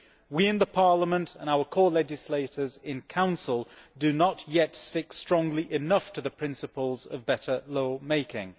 We in Parliament and our co legislators in Council do not yet stick strongly enough to the principles of better lawmaking.